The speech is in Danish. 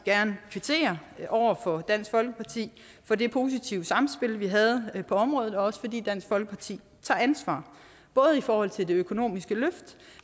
kvittere over for dansk folkeparti for det positive samspil vi havde på området og også fordi dansk folkeparti tager ansvar både i forhold til det økonomiske løft